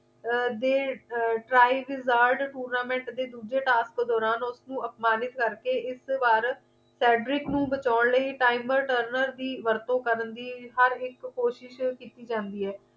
ਅਰ ਦੇ ਅਰ tries resard tournament ਦੇ ਦੂਜੇ task ਤੋਂ ਦੌਰਾਨ ਉਸਨੂੰ ਅਪਮਾਨਿਤ ਕਰਕੇ ਇਸ ਵਾਰ haygrid ਨੂੰ ਬਚਾਉਣ ਲਈ timer turner ਦੀ ਵਰਤੋ ਕਰਨ ਦੀ ਹਰ ਇੱਕ ਕੋਸ਼ਿਸ਼ ਕੀਤੀ ਜਾਂਦੀ ਹੈ